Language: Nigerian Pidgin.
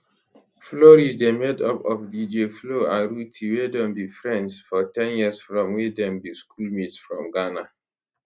flourish dey made up of dj flo and rhuthee wey don be friends for ten years from wen dem be schoolmates for ghana